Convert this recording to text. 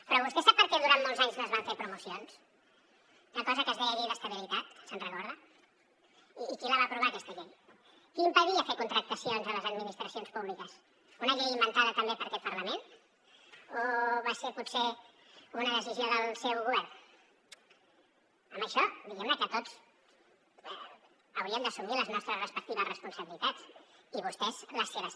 però vostè sap perquè durant molts anys no es van fer promocions d’una cosa que es deia llei d’estabilitat se’n recorda i qui la va aprovar aquesta llei què impedia fer contractacions a les administracions públiques una llei inventada també per aquest parlament o va ser potser una decisió del seu govern amb això diguem ne que tots hauríem d’assumir les nostres respectives responsabilitats i vostès les seves